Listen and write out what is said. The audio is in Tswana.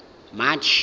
march